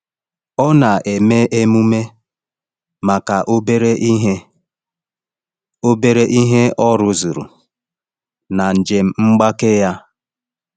Ọ na-eme emume maka obere ihe obere ihe ọ rụzuru na njem mgbake ya.